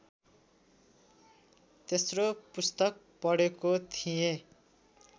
तेस्रो पुस्तक पढेको थिएँ